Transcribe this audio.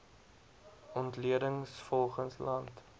ontleding volgens land